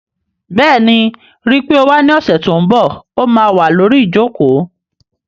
Bẹ́ẹ̀ni, ríi pé o wá ní ọ̀sẹ̀ tó n bọ̀, ó má wà lórí ìjòkó